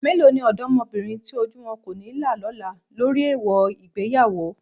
Mélòó ni ọ̀dọ́mọbìnrin tí ojú wọn kò ní là lọ́la lórí èèwọ̀ ìgbéyàwó?